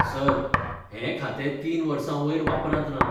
Sir, हें खातें तीन वर्सां वयर वापरांत ना.